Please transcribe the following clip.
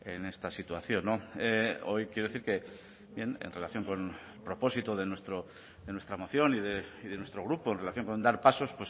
en esta situación hoy quiero decir que en relación con el propósito de nuestra moción y de nuestro grupo en relación con dar pasos